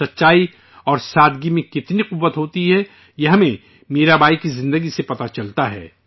سادگی میں کتنی طاقت ہوتی ہے، یہ ہمیں میرا بائی کے دور حیات سے پتہ چلتا ہے